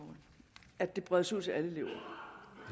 at det kan bredes ud til alle